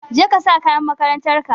Jeka sa kayan makarantarka.